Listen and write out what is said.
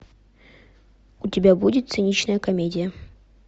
у тебя будет циничная комедия